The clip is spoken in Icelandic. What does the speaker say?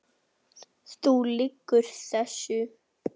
Þú lýgur þessu!